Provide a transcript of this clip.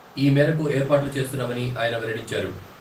ఈ మేరకు ఏర్పాట్లు చేస్తున్నామని ఆయన వెల్లడించారు.